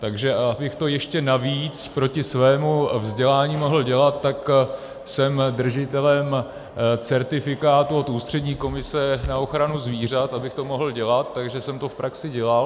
Takže abych to ještě navíc proti svému vzdělání mohl dělat, tak jsem držitelem certifikátu od Ústřední komise na ochranu zvířat, abych to mohl dělat, takže jsem to v praxi dělal.